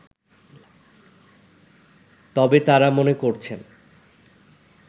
তবে তারা মনে করছেন